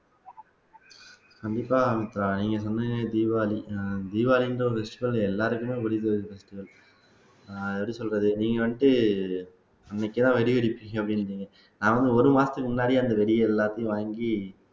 கண்டிப்பா மித்ரா நீங்க சொன்னது தீபாவளி தீபாவளின்ற ஒரு விஷயம் எல்லாருக்குமே எப்படி சொல்றது நீங்க வந்துட்டு அன்னைக்கேதான் வெடி வெடிப்பீங்க அப்படின்னீங்க நான் வந்து ஒரு மாசத்துக்கு முன்னாடியே அந்த வெடியை எல்லாத்தையும் வாங்கி